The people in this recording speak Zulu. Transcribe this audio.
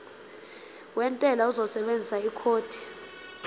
wentela uzosebenzisa ikhodi